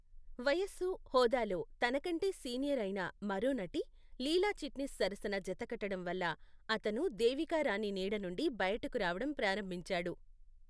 వయస్సు, హోదాలో తనకంటే సీనియర్ అయిన మరో నటి లీలా చిట్నిస్ సరసన జతకట్టడం వల్ల అతను దేవికా రాణి నీడనుండి బయటకు రావడం ప్రారంభించాడు.